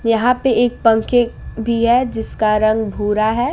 यहां पे एक पंखे भी है जिसका रंग भूरा है।